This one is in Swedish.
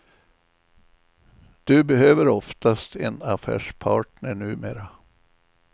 Du behöver oftast en affärspartner numera.